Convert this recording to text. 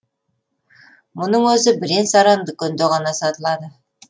мұның өзі бірен саран дүкенде ғана сатылады